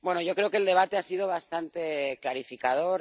Creo que el debate ha sido bastante clarificador.